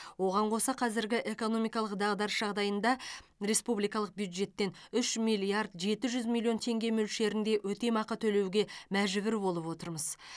оған қоса қазіргі экономикалық дағдарыс жағдайында республикалық бюджеттен үш миллиард жеті жүз миллион теңге мөлшерінде өтемақы төлеуге мәжбүр болып отырмыз